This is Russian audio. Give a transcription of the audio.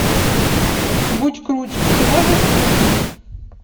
будь круче ты можешь включить